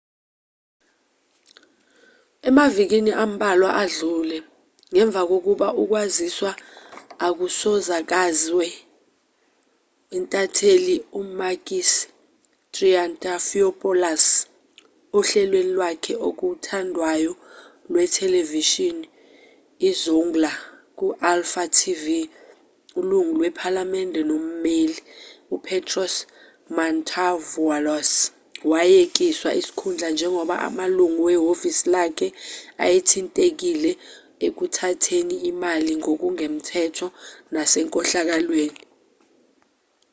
emavikini ambalwa adlule ngemva kokuba ukwaziswa okusakazwe intatheli umakis triantafylopoulos ohlelweni lwakhe okuthandwayo lwethelevishini izoungla ku-alfa tv ilungu lephalamende nommeli upetros mantouvalos wayekiswa isikhundla njengoba amalungu wehhovisi lakhe ayethintekile ekuthatheni imali ngokungemthetho nasenkohlakalweni